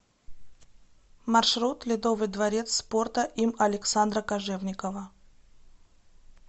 маршрут ледовый дворец спорта им александра кожевникова